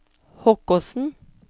Hokkåsen